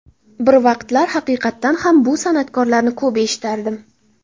Bir vaqtlar haqiqatan ham bu san’atkorlarni ko‘p eshitardim.